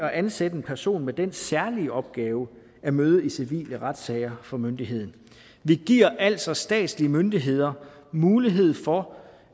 at ansætte en person med den særlige opgave at møde i civile retssager for myndigheden vi giver altså statslige myndigheder mulighed for